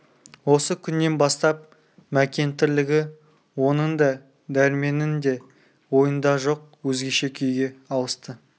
осы күннен бастап мәкен тірлігі оның да дәрменнің де ойында жоқ өзгеше күйге ауысты